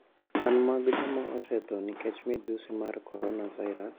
Kwan mag joma osetho nikech midhusi mar corona virus